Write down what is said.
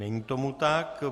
Není tomu tak.